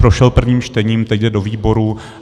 Prošel prvním čtením, teď jde do výborů.